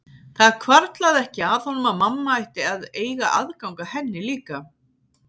Það hvarflaði ekki að honum að mamma ætti að eiga aðgang að henni líka.